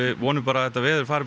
vonum bara að þetta veður fari bara